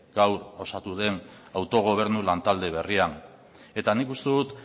gaur osatu den autogobernu lantalde berria eta nik uste dut